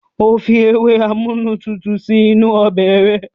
Óò Fi ewé amúnútutù sí inú ọbẹ̀ rẹ̀.